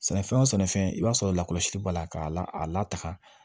Sɛnɛfɛn wo sɛnɛfɛn i b'a sɔrɔ lakɔlɔsili b'a la k'a la a lataga